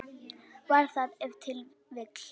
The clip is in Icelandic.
Var það ef til vill.